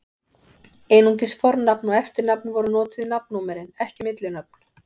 Einungis fornafn og eftirnafn voru notuð í nafnnúmerin, ekki millinöfn.